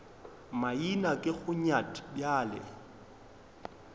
maina ke go nyat bjale